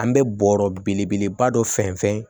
An bɛ bɔrɔ belebeleba dɔ fɛnsɛn